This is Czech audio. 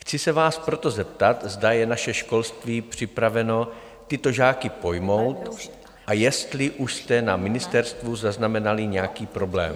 Chci se vás proto zeptat, zda je naše školství připraveno tyto žáky pojmout a jestli už jste na ministerstvu zaznamenali nějaký problém.